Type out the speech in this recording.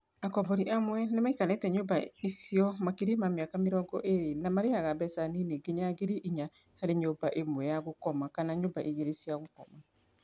Akombori amwe nĩmaikarĩte nyũmba icio makĩria ma mĩaka mĩrongo ĩrĩ na marĩhaga mbeca nini nginya ngiri inya harĩ nyũmba ĩmwe ya gũkoma kana nyũmba igĩrĩ cia gũkoma.